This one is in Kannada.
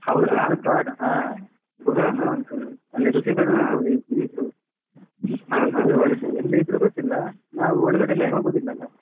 ಹಾ ಗುಹೆ ಎಲ್ಲ ಉಂಟು ಅಲ್ಲಿ ಋಷಿಗಳು ಇರ್ಬೋದು ಇಗ್ಲೂ ಗುಹೆ ಒಳಗೆ ಎಲ್ಲಿ ಇದ್ರು ಗೊತ್ತಿಲ್ಲ ನಾವ್ ಒಳಗಡೆ ಎಲ್ಲ ಹೋಗುದಿಲ್ಲ ಅಲಾ.